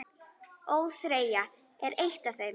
ÓÞREYJA er eitt af þeim.